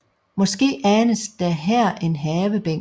Måske anes der her en havebænk